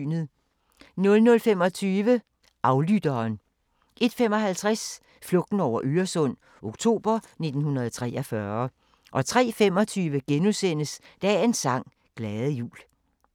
00:25: Aflytteren 01:55: Flugten over Øresund – oktober 1943 03:25: Dagens sang: Glade jul *